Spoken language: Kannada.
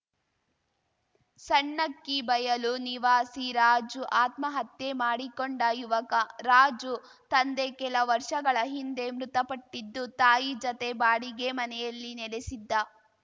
ಸಣ್ಣಕ್ಕಿ ಬಯಲು ನಿವಾಸಿ ರಾಜು ಆತ್ಮಹತ್ಯೆ ಮಾಡಿಕೊಂಡ ಯುವಕ ರಾಜು ತಂದೆ ಕೆಲ ವರ್ಷಗಳ ಹಿಂದೆ ಮೃತಪಟ್ಟಿದ್ದು ತಾಯಿ ಜತೆ ಬಾಡಿಗೆ ಮನೆಯಲ್ಲಿ ನೆಲೆಸಿದ್ದ